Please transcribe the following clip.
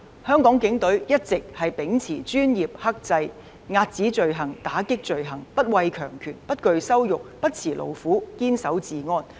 香港警隊一直秉持專業精神和克制的態度來遏止罪行、打擊罪行，並且不畏強權、不懼羞辱、不辭勞苦、堅守治安。